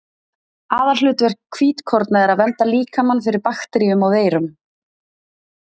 Aðalhlutverk hvítkorna er að vernda líkamann fyrir bakteríum og veirum.